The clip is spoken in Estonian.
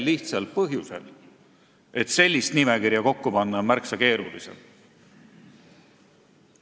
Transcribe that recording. Lihtsal põhjusel: sellist nimekirja kokku panna on märksa keerulisem.